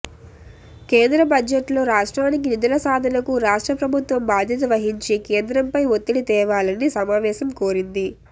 కేంద్ర బడ్జెట్లో రాష్ట్రానికి నిధుల సాధనకు రాష్ట్ర ప్రభుత్వం బాధ్యత వహించి కేంద్రంపై ఒత్తిడి తేవాలని సమావేశం కోరింది